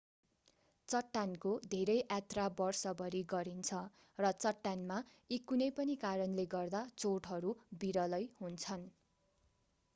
चट्टानको धेरै यात्रा वर्षभरि गरिन्छ र चट्टानमा यी कुनै पनि कारणले गर्दा चोटहरू विरलै हुन्छन्